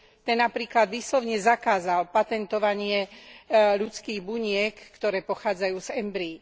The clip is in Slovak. Ten napríklad výslovne zakázal patentovanie ľudských buniek, ktoré pochádzajú z embryí.